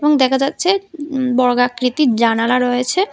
এবং দেখা যাচ্ছে বর্গাকৃতির জানালা রয়েছে।